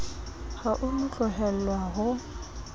ha o no tlohelwa ho